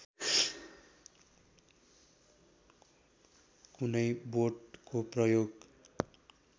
कुनै बोटको प्रयोग